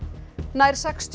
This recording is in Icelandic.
nær sextíu